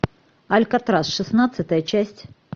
алькатрас шестнадцатая часть